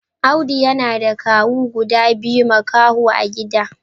Audu yana da kawu guda biyu makaho a gidan.